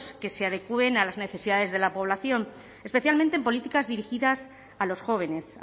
que se adecuen a las necesidades de la población especialmente en políticas dirigidas a los jóvenes